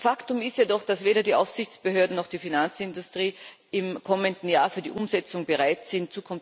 Faktum ist jedoch, dass weder die Aufsichtsbehörden noch die Finanzindustrie im kommenden Jahr für die Umsetzung bereit sind.